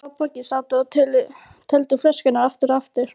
Vala og Bogga sátu og töldu flöskurnar aftur og aftur.